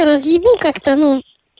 я разъебу как-то ну